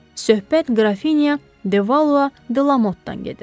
Söhbət qrafinya De Valua Delamottadan gedir.